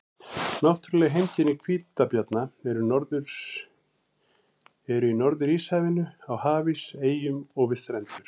Náttúruleg heimkynni hvítabjarna eru í Norður-Íshafinu, á hafís, eyjum og við strendur.